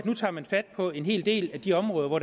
nu tager fat på en hel del af de områder hvor